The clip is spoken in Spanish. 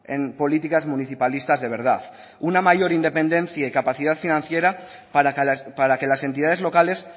en políticas municipalistas de verdad una mayor independencia y capacidad financiera para que las entidades locales